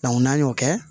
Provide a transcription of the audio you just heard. n'an y'o kɛ